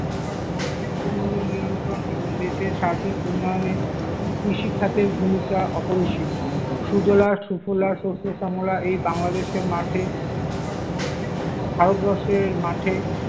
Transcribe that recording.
দ্রব্যমূল্য নিয়ন্ত্রণ এবং দেশের সার্বিক উন্নয়নে কৃষি খাতের ভূমিকা অপরিসীম, সুজলা সুফলা শস্য শ্যামলা এই বাংলাদেশের মাঠে, ভারতবর্ষের মাঠে।